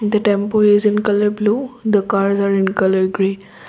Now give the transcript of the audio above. the tempo is in colour blue the car as in colour green.